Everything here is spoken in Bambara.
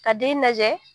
Ka den lajɛ